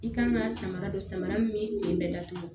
I kan ka samara don samara min b'i sen bɛɛ datugu